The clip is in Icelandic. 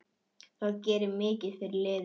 Það gerir mikið fyrir liðið.